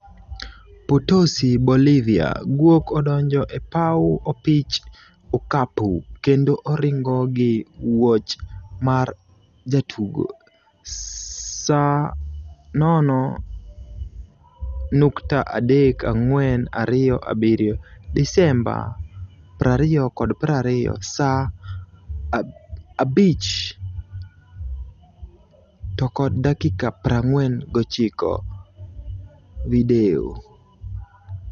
Potosi Bolivia: Gwok odonjo e paw opich okapu kendo oringo gi wuoch mar jatugo, Saa 0.3427 Disemba 2020 saa 23:49 Video